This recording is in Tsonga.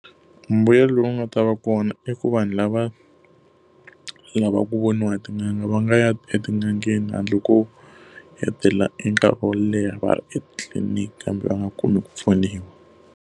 Mbuyelo lowu nga ta va kona i ku vanhu lava lavaka ku voniwa tin'anga va nga ya etin'angeni handle ko hetelela enkarhi wo leha va ri etliliniki kambe va nga kumi ku pfuniwa.